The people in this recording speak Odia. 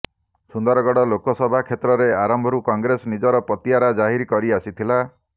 ସୁନ୍ଦରଗଡ଼ ଲୋକସଭା କ୍ଷେତ୍ରରେ ଆରମ୍ଭରୁ କଂଗ୍ରେସ ନିଜର ପତିଆରା ଜାହିର କରି ଆସିଥିଲା